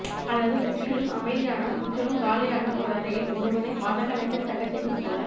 அல்லது முற்றிலும் அமைதியான முற்றிலும் காலியான ஓர் அறையில் ஒருவனை மாதக்கணக்கில் தங்கச்செய்வதுபோல